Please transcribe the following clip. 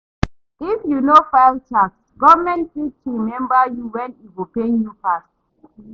If you no file tax, government fit remember you when e go pain you pass.